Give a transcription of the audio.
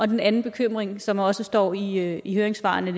den anden bekymring som også står i i høringssvarene